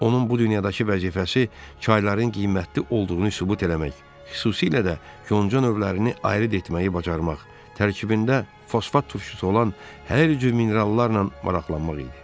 Onun bu dünyadakı vəzifəsi çayların qiymətli olduğunu sübut eləmək, xüsusilə də yonca növlərini ayıd etməyi bacarmaq, tərkibində fosfat turşusu olan hər cür minerallarla maraqlanmaq idi.